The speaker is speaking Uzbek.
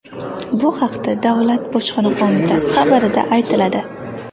Bu haqda Davlat bojxona qo‘mitasi xabarida aytiladi .